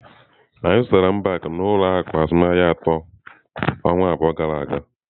Anyị zụtara mbak n'ụlọ akụ azụmaahịa atọ ọnwa abụọ gara aga.